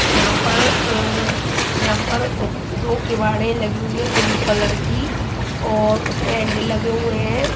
जहां पर अह जहां पर दो केवाड़े लगी हुए है ब्लू कलर की और उसमें हैंडल लगे हुए हैं।